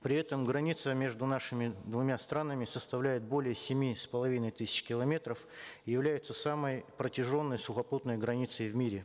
при этом граница между нашими двумя странами составляет более семи с половиной тысяч километров является самой протяженной сухопутной границей в мире